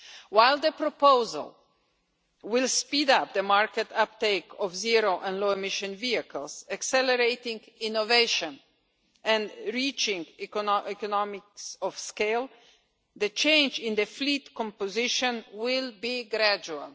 While the proposal will speed up the market uptake of zero and low emission vehicles, accelerating innovation and reaching economies of scale, the change in the fleet composition will be gradual.